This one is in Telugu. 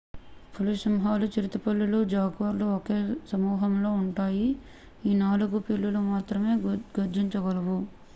పులి సింహాలు చిరుతపులులు జాగ్వర్లు ఒకే సమూహంలో జెనస్ పాంతేరా ఉంటాయి ఈ నాలుగు పిల్లులు మాత్రమే గర్జించగలవు